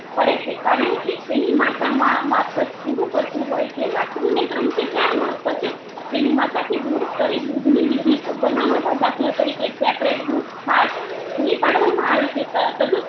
પડે છે કારણ કે તેની માતા મા માફત પરું પડતુ હોય છે વાસ્ત્રુ ને તેણ થી ચાર માસ પછી તેની માતા થી દૂર કરી દૂધની બીજી બનાવોટ દાખલ તારીકે separate દુધ છાસ પુરી પેડ વામાં આવે છે તદુપરાંત